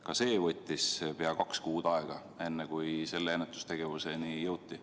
Ka see võttis pea kaks kuud aega, enne kui selle ennetustegevuseni jõuti.